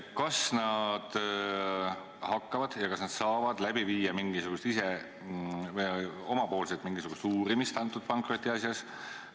Kas nad hakkavad ja kas nad saavad ise läbi viia mingisugust uurimist konkreetses pankrotiasjas?